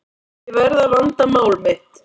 Ég verð að vanda mál mitt.